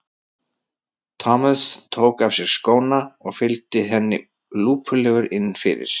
Thomas tók af sér skóna og fylgdi henni lúpulegur inn fyrir.